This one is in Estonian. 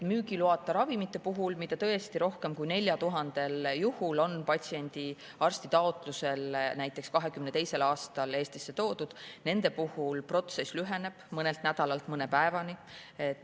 Müügiloata ravimite puhul, mida on rohkem kui 4000 juhul arsti taotlusel 2022. aastal Eestisse toodud, lüheneb protsess mõnelt nädalalt mõne päevani.